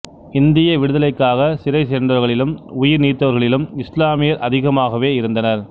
இந்திய விடுதலைக்காகச் சிறை சென்றவர்களிலும் உயிர் நீத்தவர்களிலும் இஸ்லாமியர் அதிகமாகவே இருந்தனர்